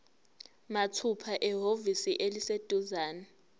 mathupha ehhovisi eliseduzane